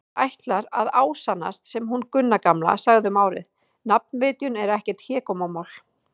Það ætlar að ásannast sem hún Gunna gamla sagði um árið: nafnvitjun er ekkert hégómamál.